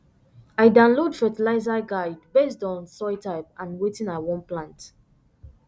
i download fertiliser guide based on soil type and wetin i wan plant